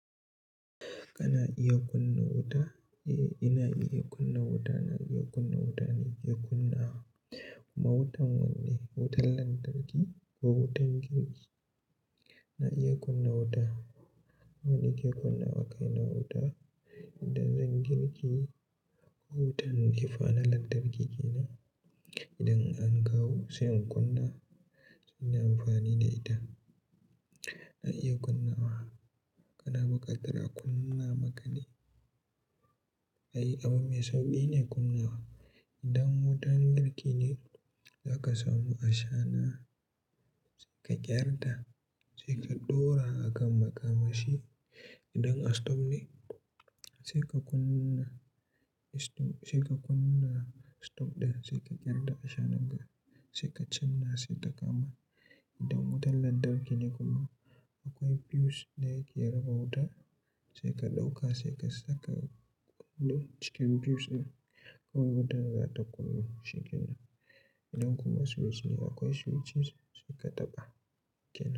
Kana iya kunna wuta? Eh, ina iya kunna wuta. Na iya kunna wuta ne ke kunna wa. Ma wutan wanne? Wutan lantarki ko wutan girki? Na iya kunna wuta. Wanne ke kunna wa kai na wuta? Idan zan girki, ko wutan ne fa na lantarki kenan. Idan an kawo sai in kunna, suna amfani da ita. Na iya kunna wa. Kana buƙatar a kunna maka ne? Ai, abu mai sauƙi ne kunna wa. Idan wutan girki ne, za ka samu ashana sai ka ƙyar ta, sai ka ɗora akan makamashi. Idan a stop ne, sai ka kunna stop, sai ka kunna stop ɗin, sai ka ƙyar ta ashana ga, sai ka canna sita kama. Idan wutan lantarki ne kuma, akwai fuse da yake raba wuta, sai ka ɗauka sai ka saka kunnu ciki fuse ɗin, kawai wutan za ta kunnu cikin nan. Idan kuma switch ne akwai switches sai ka taɓa kenan.